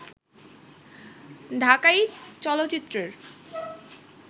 ঢাকাই চলচ্চিত্রের